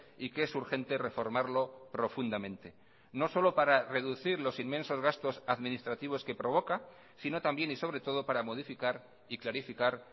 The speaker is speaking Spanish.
y que es urgente reformarlo profundamente no solo para reducir los inmensos gastos administrativos que provoca si no también y sobre todo para modificar y clarificar